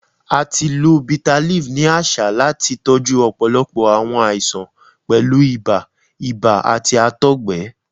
A ti lo bitterleaf ni aṣa lati tọju ọpọlọpọ awọn aisan, pẹlu ibà, ibà, ati àtọgbẹ.